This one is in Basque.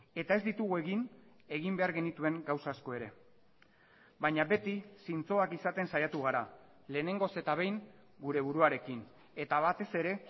eta ez ditugu egin egin behar genituen gauza asko ere baina beti zintzoak izaten saiatu gara lehenengoz eta behin gure buruarekin eta batez ere